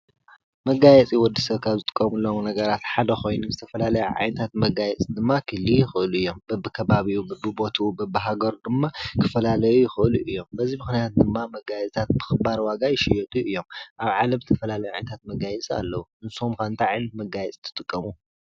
መጋየፂ ወዲሰብ ካብ ዝጥቀመሎም ነገራት ሓደ ኮይኑ ዝተፈላለዩ ዓይነታት ክህልዉ ይክእሉ እዮም በብከባቢኡ በቢቦትኡ በቢ ሃገሩ ድማ ክፈላለዩ ይክእሉ እዮም በዚ ምክንያት ድማ መጋየፅታት ብክባር ዋጋ ይሽየጡ እዮም ኣብ ዓለም ዝተፈላለዩ መጋየፅታት ኣለዉ ንስኩም ከ እንታይ ዓይነት መጋየፂ ትጥቀሙ ?